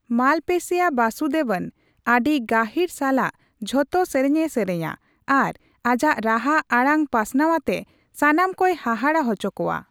Malaysia ᱵᱟᱥᱩᱫᱮᱵᱚᱱ ᱟᱹᱰᱤ ᱜᱟᱹᱦᱤᱨ ᱥᱟᱞᱟᱜ ᱡᱷᱚᱛᱚ ᱥᱮᱨᱮᱧ ᱮ ᱥᱮᱨᱮᱧᱼᱟ ᱟᱨ ᱟᱡᱟᱜ ᱨᱟᱦᱟ ᱟᱲᱟᱝ ᱯᱟᱥᱱᱟᱣ ᱟᱛᱮ ᱥᱟᱱᱟᱢ ᱠᱚᱭ ᱦᱟᱦᱟᱲᱟ ᱦᱚᱪᱚ ᱠᱳᱶᱟ ᱾